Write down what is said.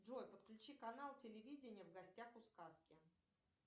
джой подключи канал телевидения в гостях у сказки